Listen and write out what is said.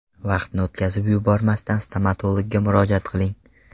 Vaqtni o‘tkazib yubormasdan stomatologga murojaat qiling.